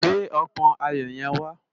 Gbé òpòn áyó yèn wá